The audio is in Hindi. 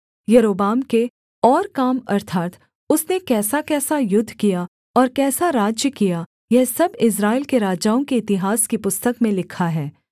यारोबाम के और काम अर्थात् उसने कैसाकैसा युद्ध किया और कैसा राज्य किया यह सब इस्राएल के राजाओं के इतिहास की पुस्तक में लिखा है